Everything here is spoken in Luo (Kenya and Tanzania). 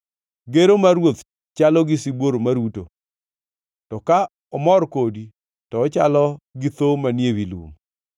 Gero mar ruoth chalo gi sibuor maruto, to ka omor kodi to ochalo gi tho manie wi lum.